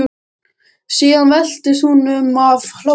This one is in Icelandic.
Síðan veltist hún um af hlátri.